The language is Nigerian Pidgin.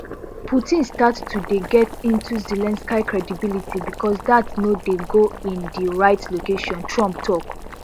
putin start to dey get into zelensky credibility because dat no dey go in di right location trump tok